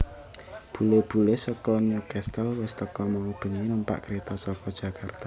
Bule bule seko Newcastle wis teko mau bengi numpak kereto soko Jakarta